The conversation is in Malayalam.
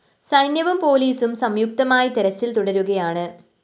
സൈന്യവും പോലീസും സംയു്ക്തമായി തെരച്ചില്‍ തുടരുകയാണ്